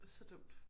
Så dumt